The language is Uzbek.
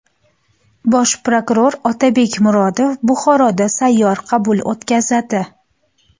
Bosh prokuror Otabek Murodov Buxoroda sayyor qabul o‘tkazadi.